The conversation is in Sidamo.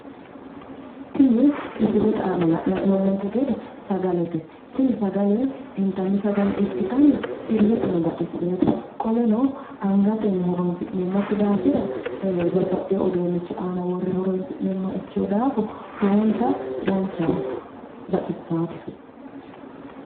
tini misile aana la'nanni hee'noommonte gede sagalete tini sagale intanni sagale ikkitanna illeteno baxissinote qoleno angatenni horonsi'neemmokki daafira babbaxewo uduunnnichi aana worre horonsi'neemmoha ikkino daafo lowonta danchaho baxissaate.